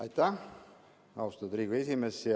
Aitäh, austatud Riigikogu esimees!